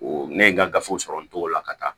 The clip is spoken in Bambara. ne ye n ka gafew sɔrɔ n t'o la ka taa